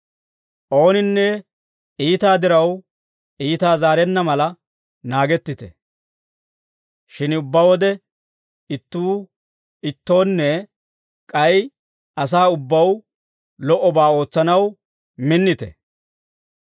Ooninne iitaa diraw iitaa zaarenna mala naagettite; shin ubbaa wode, ittuu ittoonne k'ay asaa ubbaw lo"obaa ootsanaw minnite.